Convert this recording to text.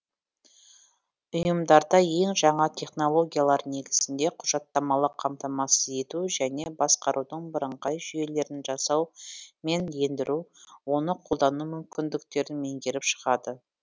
ұйымдарда ең жаңа технологиялар негізінде құжаттамалық қамтамасыз ету және басқарудың бірыңғай жүйелерін жасау мен ендіру оны қолдану мүмкіндіктерін меңгеріп шығады